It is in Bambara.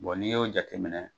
n'i y'o jate minɛ.